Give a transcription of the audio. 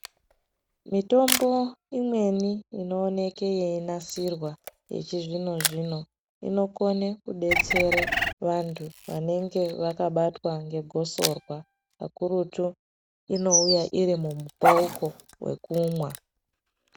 Mitombo imweni ino oneke yei nasirwa yechi zvino zvino ino kone kudetsere vantu vanenge vakabatwa nge gosorwa kakurutu ino uya irimu mumu pauko we kumwa.